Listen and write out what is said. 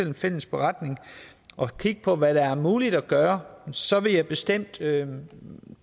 en fælles beretning og kigge på hvad der er muligt at gøre så vil jeg bestemt tage